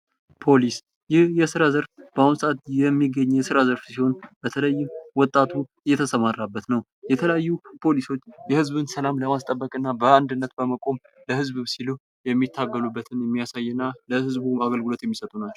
ፖሊስ ይህ የስራ ዘርፍ በአሁኑ ሰዓት የሚገኝ የስራ ዘርፍ ሲሆን በተለይም ወጣቱ የተሰማራበት ።የተለያዩ ፖሊሶች የህዝብን ሰላም ለማስጠበቅ በአንድነት በመቆም ለህዝብ ሲሉ የሚታገሉበትን የሚያሳየና ለህዝቡ አገልግሎት የሚሰጡ ናቸው።